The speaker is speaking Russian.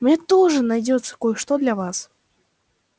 у меня тоже найдётся кое-что для вас